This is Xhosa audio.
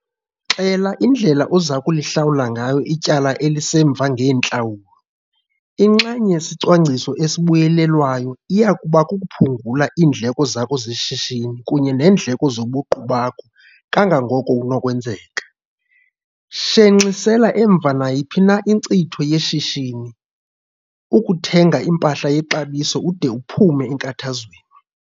Xela indlela oza kulihlawula ngayo ityala elisemva ngeentlawulo. Inxenye yesecwangciso esibuyelelwayo iya kuba kukuphungula iindleko zakho zeshishini kunye neendleko zobuqu bakho kangangoko kunokwenzeka. Shenxisela emva nayiphi inkcitho yeshishini, ukuthenga impahla yexabiso ude uphume enkathazweni.